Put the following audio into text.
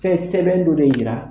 Fɛn sɛbɛn dɔ de jira